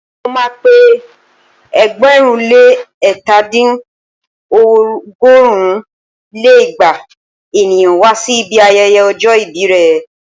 Mo ma pé ẹgbẹ̀rún lé ẹ̀ta dín ní- ọgọ́rùn lé igba ènìyàn wá sí ibi ayẹyẹ ọjọ́ ìbí rẹ̀